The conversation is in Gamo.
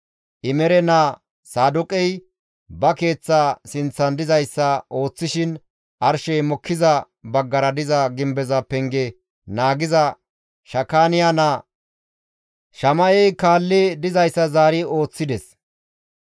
Imere naa Saadooqey ba keeththa sinththan dizayssa ooththishin arshey mokkiza baggara diza gimbeza penge naagiza Shakaaniya naa Shama7ey kaalli dizayssa zaari ooththides.